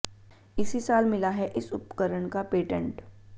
इसी साल मिला है इस उपकरण का पेटेंट